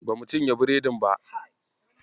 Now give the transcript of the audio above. Bamu cinye biredin ba.